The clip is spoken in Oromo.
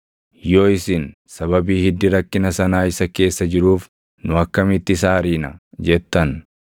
“Yoo isin, ‘Sababii hiddi rakkina sanaa isa keessa jiruuf nu akkamitti isa ariina?’ jettan,